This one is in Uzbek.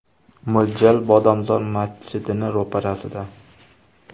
Mo‘ljal: Bodomzor masjidining ro‘parasida.